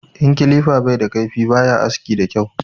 In kilifa bai da kaifi baya aski da kyau